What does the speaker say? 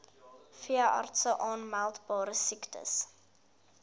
veeartse aanmeldbare siektes